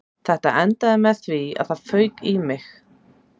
Þetta endaði með því að það fauk í mig